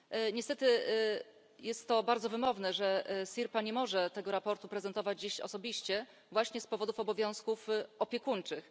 Niestety, jest to bardzo wymowne, że Sirpa nie może tego sprawozdania prezentować dziś osobiście właśnie z powodu obowiązków opiekuńczych.